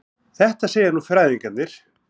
Þetta segja nú fræðingarnir.